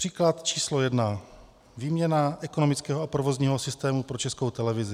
Příklad číslo 1. Výměna ekonomického a provozního systému pro Českou televizi.